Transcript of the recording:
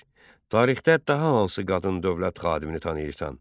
1. Tarixdə daha hansı qadın dövlət xadimini tanıyırsan?